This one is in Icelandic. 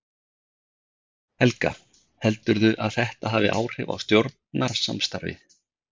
Helga: Heldurðu að þetta hafi áhrif á stjórnarsamstarfið?